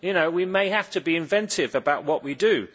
We may have to be inventive about what we do.